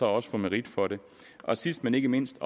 også få merit for det og sidst men ikke mindst